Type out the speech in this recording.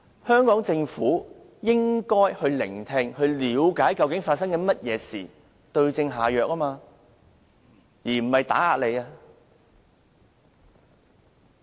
香港政府要把脈，要聆聽和了解究竟發生了甚麼事，再對症下藥，而不是打壓。